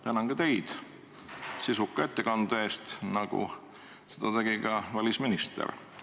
Tänan ka teid sisuka ettekande eest, nagu välisministritki.